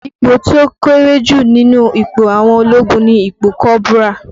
Ipò tí ó kéré jù nínú ipò àwọn ológun ni ipò kọ́bùrà